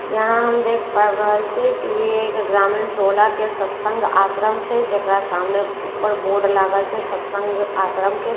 यहाँ हम देख पाबि रहल छिएक की ये एक ग्रामीण टोला के सत्संग आश्रम छै। जेकरा सामने ऊपर बोर्ड लागल छै सत्संग आश्रम के आओर --